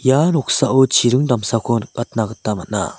ia noksao chiring damsako nikatna gita man·a.